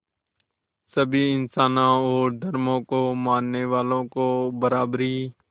सभी इंसानों और धर्मों को मानने वालों को बराबरी